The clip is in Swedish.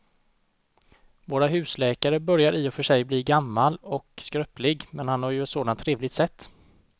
Vår husläkare börjar i och för sig bli gammal och skröplig, men han har ju ett sådant trevligt sätt!